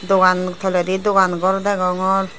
dogan toledi dogan gor degongor.